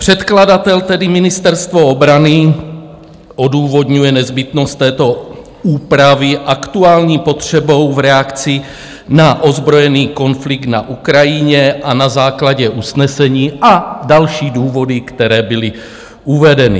Předkladatel, tedy Ministerstvo obrany, odůvodňuje nezbytnost této úpravy aktuální potřebou v reakci na ozbrojený konflikt na Ukrajině a na základě usnesení, a další důvody, které byly uvedeny.